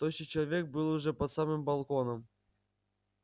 тощий человек был уже под самым балконом